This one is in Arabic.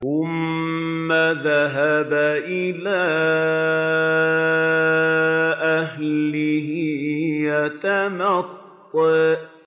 ثُمَّ ذَهَبَ إِلَىٰ أَهْلِهِ يَتَمَطَّىٰ